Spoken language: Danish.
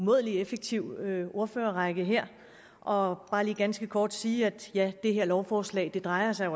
umådelig effektiv ordførerrække her og bare lige ganske kort sige at det her lovforslag jo drejer sig